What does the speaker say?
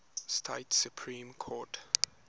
state supreme court